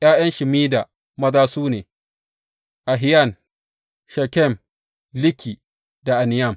’Ya’yan Shemida maza su ne, Ahiyan, Shekem, Liki da Aniyam.